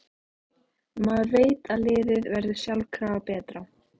Maður veit að liðið verður sjálfkrafa betra.